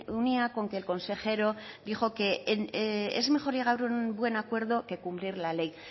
unía con que el consejero dijo que es mejor llegar a un buen acuerdo que cumplir la ley